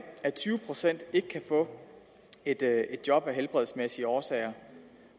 at tyve procent ikke kan få et job af helbredsmæssige årsager